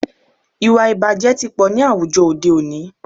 Ìwàìbàjẹ́ tí pọ̀ ní àwùjọ òde òní.